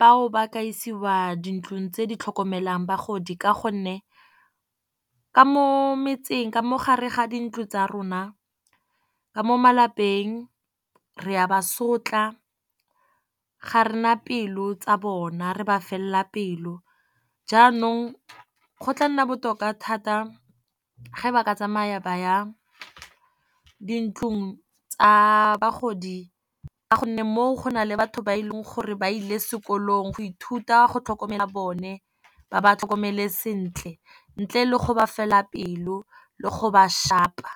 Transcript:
bao ba ka isiwa dintlong tse di tlhokomelang bagodi. Ka gonne ka mo metseng ka mo gare ga dintlo tsa rona ka mo malapeng re a ba sotla, ga rena pelo tsa bona re ba fela pelo. Jaanong go tla nna botoka thata ge ba ka tsamaya ba ya dintlong tsa bagodi, ka gonne moo go na le batho ba e leng gore ba ile sekolong go ithuta go tlhokomela bone ba ba tlhokomele sentle, ntle le go ba fela pelo le go ba shapa.